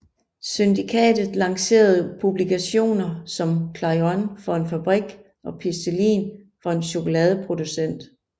Syndikatet lancerede publikationer som Clairon for en fabrik og Pistolin for en chokoladeproducent